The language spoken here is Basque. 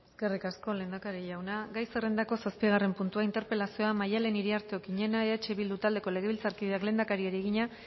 eskerrik asko lehendakari jauna gai zerrendako zazpigarren puntua interpelazioa maddalen iriarte okiñena eh bildu taldeko legebiltzarkideak lehendakariari egina